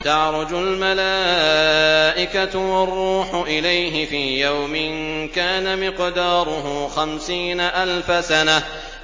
تَعْرُجُ الْمَلَائِكَةُ وَالرُّوحُ إِلَيْهِ فِي يَوْمٍ كَانَ مِقْدَارُهُ خَمْسِينَ أَلْفَ سَنَةٍ